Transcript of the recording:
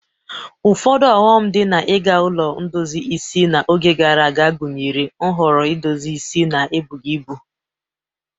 Ụfọdụ ọghọm dị na iga ụlọ ndozi isi n'oge gara aga gụnyere nhọrọ edozi isi na ebughi ibu.